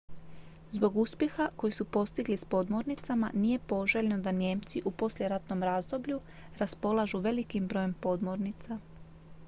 zbog uspjeha koji su postigli s podmornicama nije poželjno da nijemci u poslijeratnom razdoblju raspolažu velikim brojem podmornica